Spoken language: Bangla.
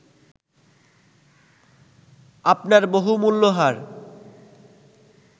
আপনার বহুমূল্য হার